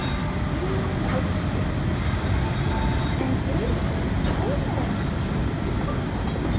Hugrún Halldórsdóttir: En eruð þið ánægðir með útkomuna?